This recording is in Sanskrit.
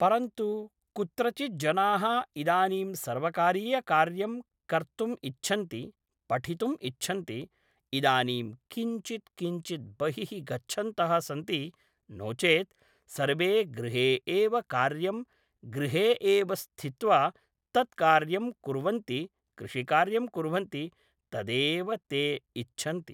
परन्तु कुत्रचित् जनाः इदानीं सर्वकारीयकार्यं कर्तुम् इच्छन्ति पठितुम् इच्छन्ति इदानीं किञ्चित् किञ्चित् बहिः गच्छन्तः सन्ति नो चेत् सर्वे गृहे एव कार्यं गृहे एव स्थित्वा तत् कार्यं कुर्वन्ति कृषिकार्यं कुर्वन्ति तदेव ते इच्छन्ति